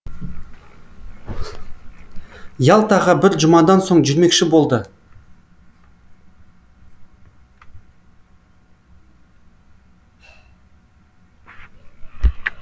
ялтаға бір жұмадан соң жүрмекші болды